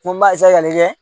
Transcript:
Ko n b'a ka n kɛ